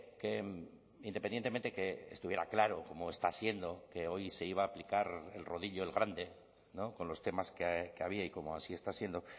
que independientemente que estuviera claro como está siendo que hoy se iba a aplicar el rodillo el grande con los temas que había y como así está siendo